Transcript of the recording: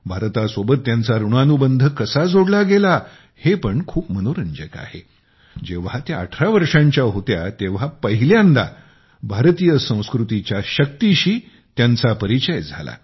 भारतासोबत त्यांचा ऋणानुबंध कसा जोडला गेला हे पण खूप मनोरंजक आहे जेव्हा त्या अठरा वर्षांच्या होत्या तेव्हा पहिल्यांदा भारतीय संस्कृतीच्या शक्तीचा परिचय त्यांना झाला